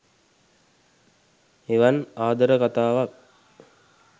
එවන් ආදර කතාවක්